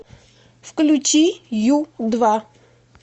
включи ю два